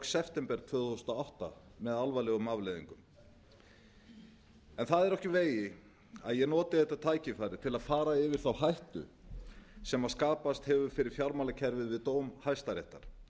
september tvö þúsund og átta með alvarlegum afleiðingum það er ekki úr vegi að ég noti þetta tækifæri á að fara yfir þá hættu sem skapast hefur fyrir fjármálakerfið við dóm hæstaréttar